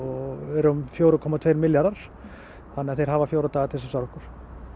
um fjögur komma tvö milljarðar þannig að þeir hafa fjóra daga til þess að svara okkur